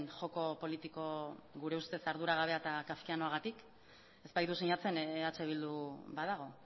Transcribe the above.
joko politiko gure ustez arduragabea eta kafkianoagatik ez baitu sinatzen eh bildu badago